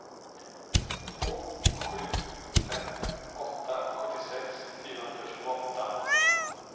två sju fem åtta sjuttiosex fyrahundratjugoåtta